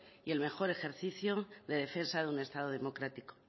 y el mejor ejercicio de defensa de un estado democrático